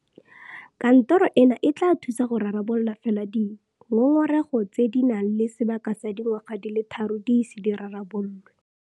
Kantoro eno e tla thusa go rarabolola fela di ngongora tse di nang le sebaka sa dingwaga di le tharo di ise di rarabololwe.